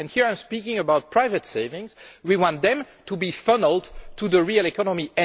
Here I am speaking about private savings we want them to be funnelled to the real economy.